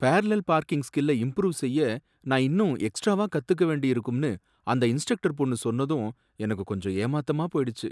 Parallel parking ஸ்கில்லை improve செய்ய நான் இன்னும் எக்ஸ்ட்ராவா கத்துக்க வேண்டியிருக்கும்னு அந்த இன்ஸ்ட்ரக்டர் பொண்ணு சொன்னதும் எனக்கு கொஞ்சம் ஏமாத்தமா போயிடுச்சி.